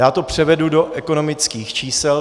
Já to převedu do ekonomických čísel.